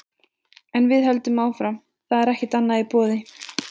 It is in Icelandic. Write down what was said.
En við höldum áfram, það er ekkert annað í boði.